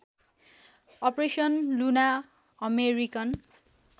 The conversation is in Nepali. operation Luna American